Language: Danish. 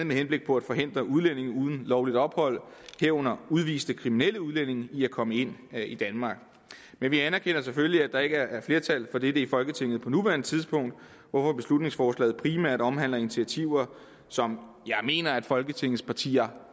med henblik på at forhindre udlændinge uden lovligt ophold herunder udviste kriminelle udlændinge i at komme ind i danmark men vi anerkender selvfølgelig at der ikke er flertal for dette i folketinget på nuværende tidspunkt hvorfor beslutningsforslaget primært omhandler initiativer som jeg mener at folketingets partier